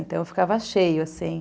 Então, ficava cheio, assim.